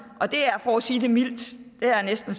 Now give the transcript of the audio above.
og det er for at sige det mildt det er næsten